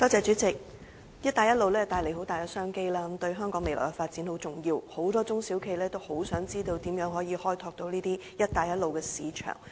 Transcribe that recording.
主席，"一帶一路"倡議帶來很大的商機，對香港未來的發展很重要，很多中小企業渴望知道如何開拓這些"一帶一路"的市場。